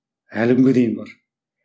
әлі күнге дейін бар